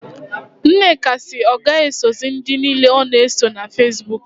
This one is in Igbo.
Nneka si na ọ gaghị esozị ndị niile ọ na-eso na Fesbuk